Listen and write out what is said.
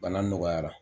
Bana nɔgɔyara